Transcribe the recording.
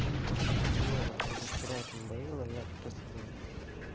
мне уже вчера это надоело я просто сказал